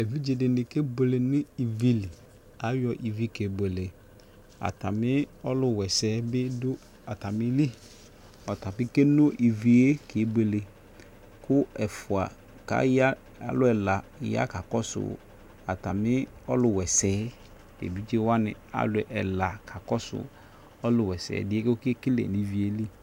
evidze dɩnɩ kebuele nʊ ivi li, ayɔ ivi yɛ kebuele, atami ɔluwa ɛsɛ bɩ dʊ atami li, ɔtabɩ ke no ivi yɛ kebuele, kʊ alʊ ɛla ya kakɔsʊ atami ɔlʊ wa ɛsɛ yɛ, evidzewanɩ alʊ ɛla, kakɔsu ɔlʊwa ɛsɛ tă okekele nʊ ivi yɛ li